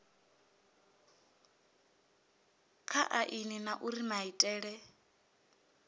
kha aini na uri maitele